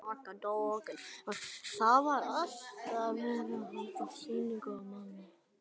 Það var alltaf verið að halda sýningu á manni.